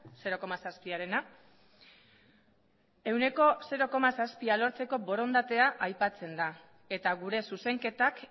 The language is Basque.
zero koma zazpiarena ehuneko zero koma zazpia lortzeko borondatea aipatzen da eta gure zuzenketak